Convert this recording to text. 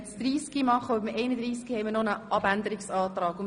Zu Traktandum 31 liegt noch ein Abänderungsantrag vor.